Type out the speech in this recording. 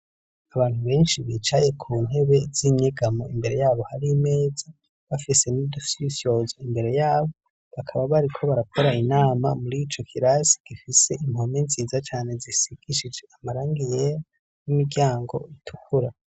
Abantu benshi bicaye ku ntebe z'inyegamo imbere yabo hari meza bafise n'idusiisyoza imbere yabo bakaba bari ko barakora inama muri ico kirasi gifise impome nziza cane zisigishije amarangiyera n'imiryango itukura.